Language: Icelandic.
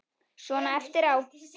Svona eftir á.